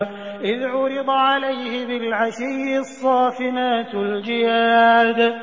إِذْ عُرِضَ عَلَيْهِ بِالْعَشِيِّ الصَّافِنَاتُ الْجِيَادُ